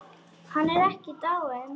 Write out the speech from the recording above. Hann er ekki dáinn.